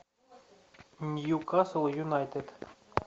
ньюкасл юнайтед